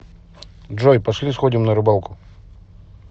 джой пошли сходим на рыбалку